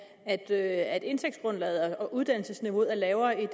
at at indtægtsgrundlaget og uddannelsesniveauet er lavere i